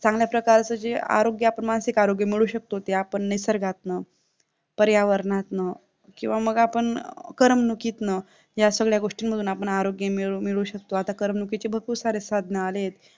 चांगल्या प्रकारचे जे आरोग्य मानसिक आरोग्य मिळवू शकतो ते आपण निसर्गातना, पर्यावरणातन किंवा मग आपण करमणुकीतन या सगळ्या गोष्टींमधून आपण आरोग्य मिळवूमिळवू शकतो आता करमणुकीचे भरपूर सारे साधने आले आहेत.